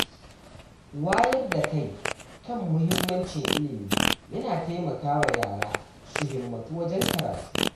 Wayar da kai kan muhimmancin ilimi yana taimakawa yara su himmatu wajen karatu.